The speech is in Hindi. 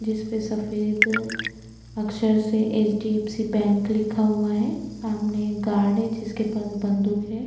जिसपे सफ़ेद अक्षर से एच.डी.एफ़.सी. बैंक लिखा है सामने एक गार्ड है जिसके पास बन्दुक है।